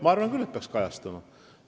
Ma arvan küll, et peaks kajastama.